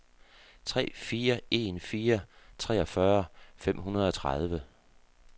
tre fire en fire treogfyrre fem hundrede og tredive